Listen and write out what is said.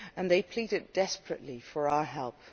They pleaded desperately for our help.